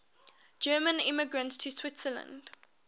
german immigrants to switzerland